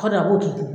a b'o tigi